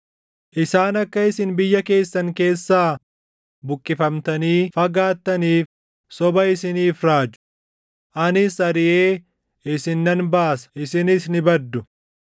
Isaan akka isin biyya keessan keessaa buqqifamtanii fagaattaniif soba isiniif raaju; anis ariʼee isin nan baasa; isinis ni baddu.